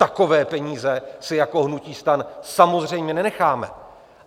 Takové peníze si jako hnutí STAN samozřejmě nenecháme.